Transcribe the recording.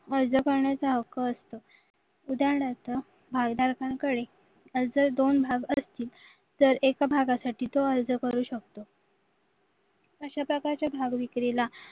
अर्ज करण्याचा हक्क असतो उदाहरणार्थ जर दोन भाग असतील तर एका भागासाठी तो अर्ज करू शकतो अशा प्रकारच्या भाग विक्रीला